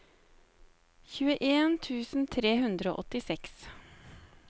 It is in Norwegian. tjueen tusen tre hundre og åttiseks